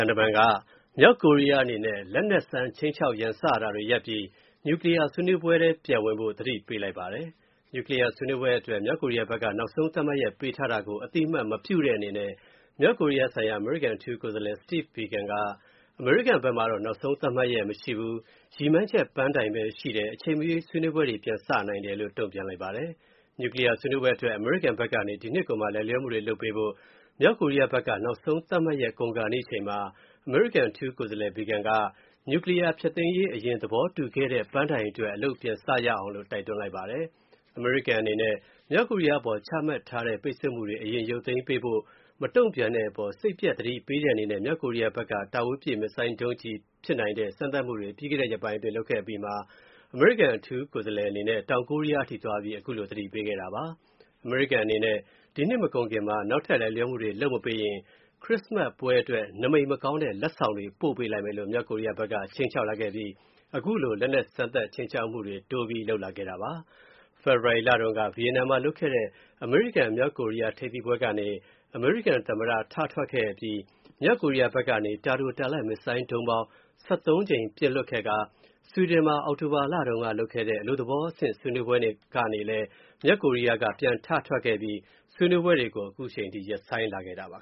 န်က မြောက်ကိုရီးယားအနေနဲ့ လက်နက်စမ်း ခြိမ်းခြောက် ရန်စနေတာတွေရပ်ပြီး နျူကလီးယား ဆွေးနွေးပွဲ ပြန်ဝင်ဖို့ သတိပေးလိုက်ပါတယ်။ နျူကလီးယား ဆွေးနွေးပွဲအတွက် မြောက်ကိုရီးယားဘက်က နောက်ဆုံးသတ်မှတ်ရက် ပေးထားတာကို အသိအမှတ်မပြုတဲ့အနေနဲ့ မြောက်ကိုရီးယားဆိုင်ရာ အမေရိကန် အထူးကိုယ်စားလှယ် Steve Biegun က အမေရိကန်ဘက်မှာတော့ နောက်ဆုံး သတ်မှတ်ရက် မရှိဘူး။ ရည်မှန်းချက်ပန်းတိုင်ပဲ ရှိတယ်၊ အချိန်မရွေး ဆွေးနွေးပွဲ ပြန်စနိုင်တယ်လို့ တုံ့ပြန်လိုက်ပါတယ်။ နျူကလီးယား ဆွေးနွေးပွဲအတွက် အမေရိကန်ဘက်ကနေ ဒီနှစ်ကုန်မှာ လိုက်လျောမှုတွေ လုပ်ပေးဖို့ မြောက်ကိုရီးယားဘက်က နောက်ဆုံးသတ်မှတ်ရက် ကုန်ဆုံးခါနီးအချိန်မှာ အမေရိကန် အထူးကိုယ်စားလှယ် Biegun က နျူကလီးယား ဖျက်သိမ်းရေးအရင် သဘောတူခဲ့တဲ့ ပန်းတိုင်အတွက် အလုပ်ပြန်စရအောင်လို့ တိုက်တွန်းလိုက်ပါတယ်။ အမေရိကန်အနေနဲ့ မြောက်ကိုရီးယားအပေါ် ချမှတ်ထားတဲ့ ပိတ်ဆို့မူတွေ အရင်ရုပ်သိမ်းပေးဖို့ မတုံ့ပြန်တဲ့အပေါ် စိတ်ပျက် သတိပေးတဲ့အနေနဲ့ မြောက်ကိုရီးယားဘက်က တာဝေးပြစ် missile ဒုံးအင်ဂျင်ဖြစ်နိုင်တဲ့ စမ်းသပ်မူတွေ ပြီးခဲ့တဲ့ရက်ပိုင်းအတွင်း လုပ်ခဲ့အပြီးမှာ အမေရိကန် အထူးကိုယ်စားလှယ် Biegun အနေနဲ့ တောင်ကိုရီးယားအထိ သွားပြီး ခုလို သတိပေးခဲ့တာပါ။ အမေရိကန်အနေနဲ့ ဒီနှစ်မကုန်ခင်မှာ နောက်ထပ် လိုက်လျောမူတွေ လုပ်မပေးရင် ခရစ်စမတ်အတွက် နမိတ်မကောင်းတဲ့ လက်ဆောင်တွေ ပို့ပေးလိုက်မယ်လို့ မြောက်ကိုရီးယားဘက်က ခြိမ်းခြောက်လာခဲ့ပြီး ခုလို နောက်ထပ် လက်နက်စမ်းသပ် ခြိမ်းခြောက်မူတွေ တိုးပြီး လုပ်လာခဲ့တာပါ။ ဖေဖော်ဝါရီလတုန်းက ဗီယက်နမ်မှာ လုပ်ခဲ့တဲ့ အမေရိကန်-မြောက်ကိုရီးယား ထိပ်သီးပွဲကနေ အမေရိကန်သမ္မတ ထထွက်ခဲ့အပြီး မြောက်ကိုရီးယားဘက်ကနေ တာတို၊ တာလတ် မစ်ဆိုင်းဒုံးပေါင်း ၁၃ ကြိမ်ပြန်လုပ်ခဲ့ကာ ဆွီဒင်မှာ အောက်တိုဘာမှာ လုပ်ခဲ့တဲ့ လုပ်တဲ့ အလုပ်သဘောအဆင့် ဆွေးနွေးပွဲ ကနေလည်း မြောက်ကိုရီးယားဘက်က ပြန်ထထွက်ခဲ့ပြီး ဆွေးနွေးပွဲတွေကို ရပ်ဆိုင်းထားခဲ့ပါ